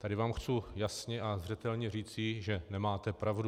Tady vám chci jasně a zřetelně říci, že nemáte pravdu.